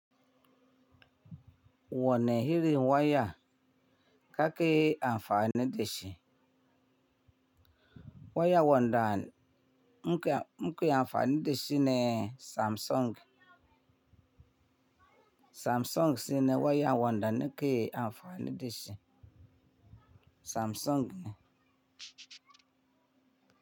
Wane hirin waya kaki amfani da shi? Waya wanda muke amfani da shi ne Samsung. Samsung shine waya wanda muke amfani da shi. Samsung ne.